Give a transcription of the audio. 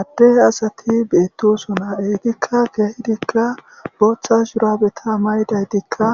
addehe asati beettosuna ehtikka keehidikka boochcha shuraabeta maydaytikka